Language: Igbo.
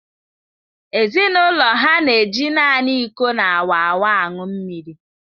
Ezinụlọ ha na eji naanị iko na-awaawa aṅụ mmiri.